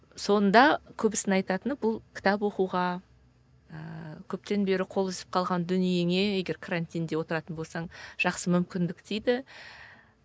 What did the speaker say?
сонда көбісінің айтатыны бұл кітап оқуға ыыы көптен бері қол үзіп қалған дүниеңе егер карантинде отыратын болсаң жақсы мүмкіндік дейді